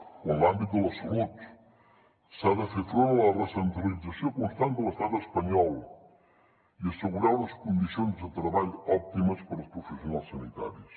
o en l’àmbit de la salut s’ha de fer front a la recentralització constant de l’estat espanyol i assegurar unes condicions de treball òptimes per als professionals sanitaris